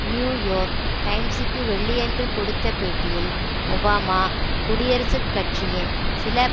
new York டைம்ஸுக்கு வெள்ளியன்று கொடுத்த பேட்டியில் ஒபாமா குடியரசுக் கட்சியின் சில